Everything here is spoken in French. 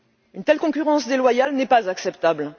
Une telle concurrence déloyale n'est pas acceptable.